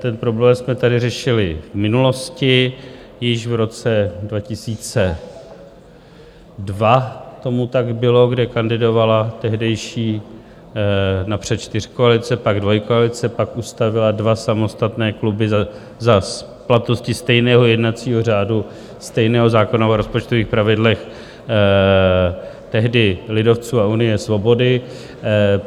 Ten problém jsme tady řešili v minulosti, již v roce 2002 tomu tak bylo, kdy kandidovala tehdejší napřed čtyřkoalice, pak dvojkoalice, pak ustavila dva samostatné kluby za platnosti stejného jednacího řádu, stejného zákona o rozpočtových pravidlech, tehdy lidovců a Unie svobody.